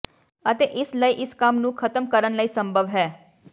ਅਤੇ ਇਸ ਲਈ ਇਸ ਕੰਮ ਨੂੰ ਖਤਮ ਕਰਨ ਲਈ ਸੰਭਵ ਹੈ